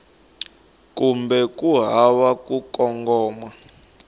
kumbe ku hava ku kongoma